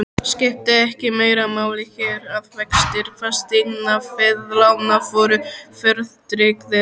Skipti ekki meira máli hér, að vextir fasteignaveðlána voru verðtryggðir?